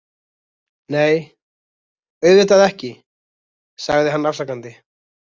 Nei, auðvitað ekki, sagði hann afsakandi.